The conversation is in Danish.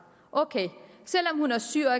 ok selv om hun er syg og